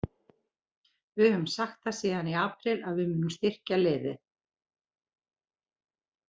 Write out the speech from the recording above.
Við höfum sagt það síðan í apríl að við munum styrkja liðið.